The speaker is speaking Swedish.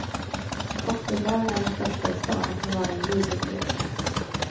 Cocktailbaren är den största i stan och kan vara en livlig lekplats.